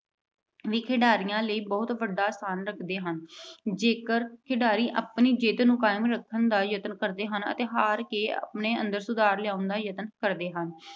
ਖਿਡਾਰੀਆਂ ਲਈ ਬਹੁਤ ਵੱਡਾ ਸਥਾਨ ਰੱਖਦੇ ਹਨ। ਜੇਕਰ ਖਿਡਾਰੀ ਆਪਣੀ ਜਿੱਤ ਨੂੰ ਕਾਇਮ ਰੱਖਣ ਦਾ ਯਤਨ ਕਰਦੇ ਹਨ ਅਤੇ ਹਾਰ ਕੇ ਆਪਣੇ ਅੰਦਰ ਸੁਧਾਰ ਲਿਆਉਣ ਦਾ ਯਤਨ ਕਰਦੇ ਹਨ।